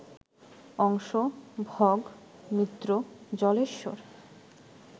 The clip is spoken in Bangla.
অংশ, ভগ, মিত্র, জলেশ্বর